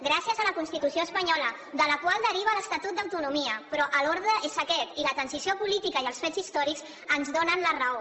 gràcies a la constitució espanyola de la qual deriva l’estatut d’autonomia però l’ordre és aquest i la transició política i els fets històrics ens donen la raó